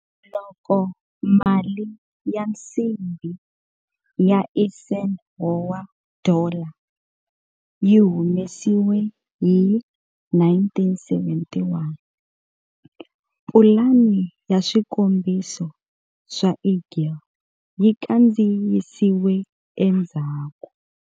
Loko mali ya nsimbi ya Eisenhower Dollar yi humesiwa hi 1971, pulani ya swikombiso swa Eagle yi kandziyisiwe endzhaku.